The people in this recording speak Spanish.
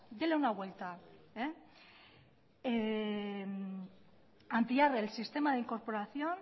déle una vuelta ampliar el sistema de incorporación